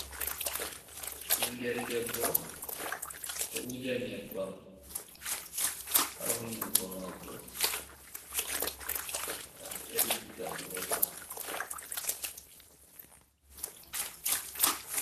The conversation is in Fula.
Ɓingel debbo, ɗo wuja nyebbam ha hundugo mako, ngam delkita woɗa.